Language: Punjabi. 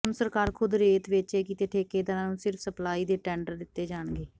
ਹੁਣ ਸਰਕਾਰ ਖ਼ੁਦ ਰੇਤ ਵੇਚੇਗੀ ਤੇ ਠੇਕੇਦਾਰਾਂ ਨੂੰ ਸਿਰਫ਼ ਸਪਲਾਈ ਦੇ ਟੈਂਡਰ ਦਿੱਤੇ ਜਾਣਗੇ